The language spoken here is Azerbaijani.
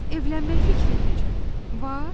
Evlənmək fikrin necə, var?